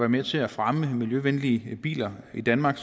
med til at fremme miljøvenlige biler i danmark